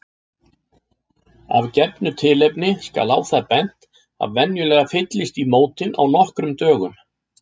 Af gefnu tilefni skal á það bent að venjulega fyllist í mótin á nokkrum dögum.